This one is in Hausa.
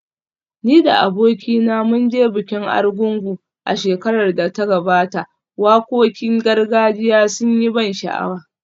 Ni da abokina mun je bikin Argungu a shekarar da ta gabata, wakokin gargajiya sun yi ban sha’awa